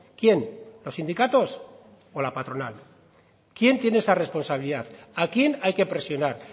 quién los sindicatos o la patronal quién tiene esa responsabilidad a quién hay que presionar